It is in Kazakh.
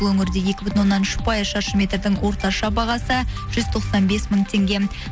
бұл өңірде екі бүтін оннан үш пайыз шаршы метрдің орташа бағасы жүз тоқсан бес мың теңге